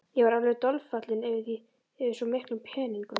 Ég varð alveg dolfallinn yfir svo miklum peningum.